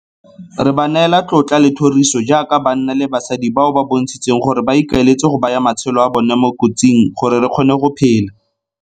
Re ba neela tlotla le thoriso jaaka banna le basadi bao ba bontshitseng gore ba ikaeletse go baya matshelo a bona mo kotsing gore re kgone go phela.